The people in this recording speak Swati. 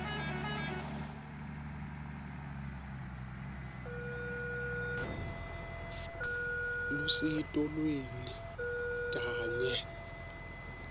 lusito lweni kanye